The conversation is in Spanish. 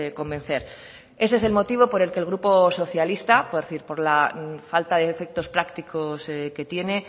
convencer ese es el motivo por el que el grupo socialista por la falta de efectos prácticos que tiene